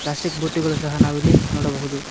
Plastic ಬುಟ್ಟಿಗಳು ಸಹ ಇಲ್ಲಿ ನಾವು ನೋಡಬಹುದು.